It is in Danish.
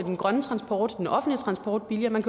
den grønne transport den offentlige transport billigere man